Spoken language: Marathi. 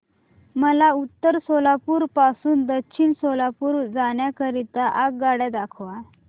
मला उत्तर सोलापूर पासून दक्षिण सोलापूर जाण्या करीता आगगाड्या दाखवा